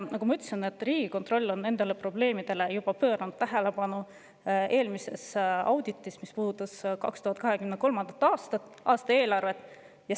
Nagu ma ütlesin, et Riigikontroll on pööranud nendele probleemidele tähelepanu juba eelmises auditis, mis puudutas 2023. aasta eelarvet.